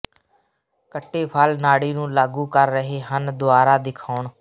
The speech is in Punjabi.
ਕੱਟੇ ਫਲ ਨਾੜੀ ਨੂੰ ਲਾਗੂ ਕਰ ਰਹੇ ਹਨ ਦੁਆਰਾ ਦਿਖਾਉਣ